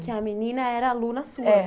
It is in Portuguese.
Porque a menina era aluna sua. É